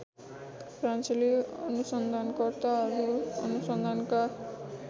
फ्रान्सेली अनुसन्धानकर्ताहरू अनुसन्धानका